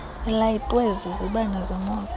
ilayitwe zizibane zemoto